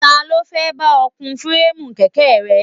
Ta ló fẹ́ bá ọ kun fireemu kèké rẹ?